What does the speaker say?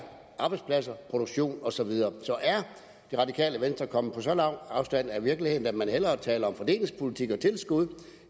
arbejdspladser produktion og så videre så er det radikale venstre kommet på så lang afstand af virkeligheden at man hellere taler om fordelingspolitik og tilskud